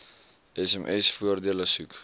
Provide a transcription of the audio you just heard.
sms voordele soek